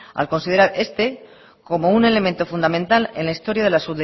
al considerar este como un elemento fundamental en la historia de la